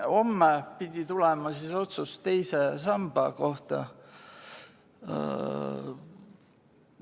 Homme pidi tulema otsus teise samba kohta.